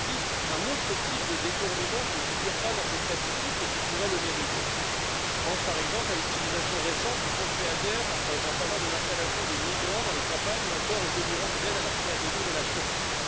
Mais il existe un autre type de détournement, qui ne figure pas dans ces statistiques, mais qui pourrait le mériter. Je pense, par exemple, à l'utilisation récente du fonds Feader en faveur de l'installation de migrants dans les campagnes, ou encore aux délirantes aides à la pré adhésion de la Turquie.